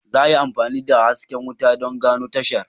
Za a yi amfani da hasken wuta don gano tashar.